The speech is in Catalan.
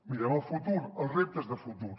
mirem al futur els reptes de futur